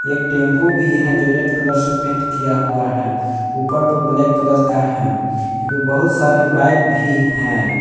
एक टेंपो भी है जो रेड कलर से पेंट किया हुआ है ऊपर पर ब्लैक कलर का है एपे बहुत सारे बाइक भी है।